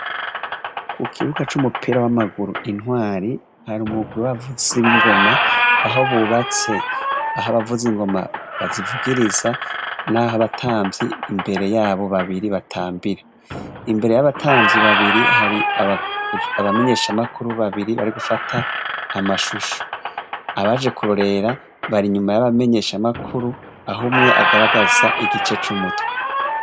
Ku kibuga c'umupira w'amaguru Intwari, hari umugwi w'abavuzi b'ingoma, aho bubatse aho abavuzi n'ingoma bazivugiriza , n'aho abatamvyi imbere yabo babiri batambira. Imbere yabo batamvyi babiri, hari amamenyeshamakuru babiri bari gufata amashusho. Abaje kurorera, bari inyuma y'abamenyeshamakuru, aho umwe agaragaza igice c'umuywe.